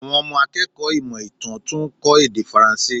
Àwọn ọmọ akẹ́kọ̀ọ́ ìmọ̀ ìtàn tún ń kó èdè Faranse.